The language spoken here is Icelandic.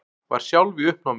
Var sjálf í uppnámi.